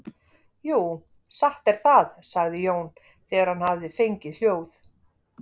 Jú, satt er það, sagði Jón þegar hann hafði fengið hljóð.